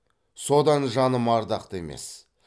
содан жаным ардақты емес